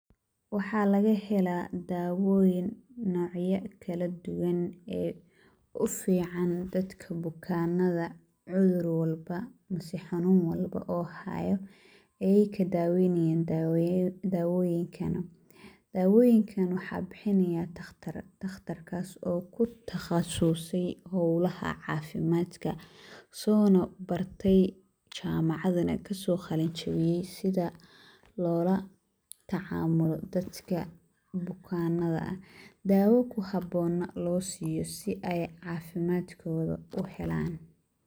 Waxaa laga helaa daawooyin nocaya kala duwan ee u ficaan dadka bukaanada. Cudur walba mise xanuun walba oo haayo, ayiika daawaynayaa oo daawooyin keeno. Dawooyinkan waxaa bixinayaa takhtar, takhtarkaas oo ku takhasusay howlaha caafimaadka, soona bartay jaamacadna ka soo qalinjibiyay sida loo la tacaamulo dadka bukaanada ah, daawo ku haboona loo siiyo si ay caafimaadkooda u helaan.